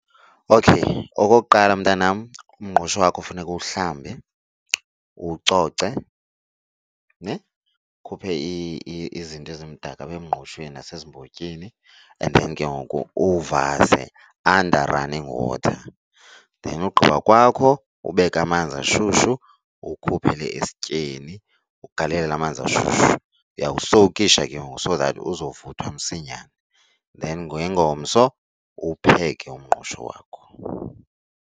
Okay, okokuqala mntanam umngqusho wakho funeka uwuhlambe uwucoce ne, ukhuphe izinto ezimdaka apha emngqushweni nasezimbotyini and then ke ngoku uwuvase under running water. Then ugqiba kwakho ubeke amanzi ashushu uwukhuphele esityeni ugalele amanzi ashushu. Uyawusowukisha ke ngoku so that uzovuthwa msinyane then ngengomso uwupheke umngqusho wakho.